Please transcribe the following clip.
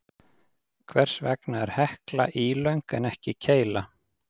Hvers vegna er Hekla ílöng en ekki keila?